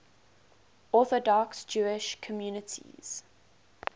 orthodox jewish communities